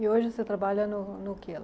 E hoje o senhor trabalha no no quê lá?